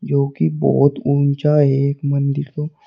जो कि बोहोत ऊंचा एक मंदिर --